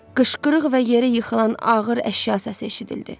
Qışqırıq və yerə yıxılan ağır əşya səsi eşidildi.